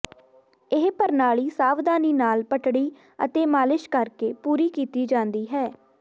ਇਹ ਪ੍ਰਣਾਲੀ ਸਾਵਧਾਨੀ ਨਾਲ ਪਟੜੀ ਅਤੇ ਮਾਲਿਸ਼ ਕਰਕੇ ਪੂਰੀ ਕੀਤੀ ਜਾਂਦੀ ਹੈ